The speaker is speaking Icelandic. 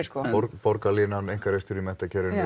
borgarlínan einkarekstur í menntakerfinu